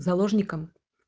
заложником